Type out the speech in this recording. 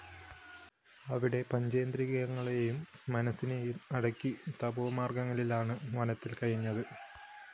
അവിടെ പഞ്ചേന്ദ്രിയങ്ങളേയും മനസ്സിനെയും അടക്കി തപോമാര്‍ഗത്തിലാണ് വനത്തില്‍ കഴിഞ്ഞത്